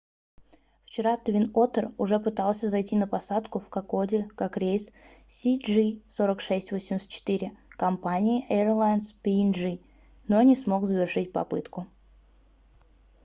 вчера twin otter уже пытался зайти на посадку в кокоде как рейс cg4684 компании airlines png но не смог завершить попытку